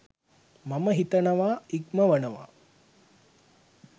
මම හිතනවා ඉක්මවනවා.